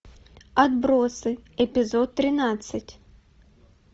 отбросы эпизод тринадцать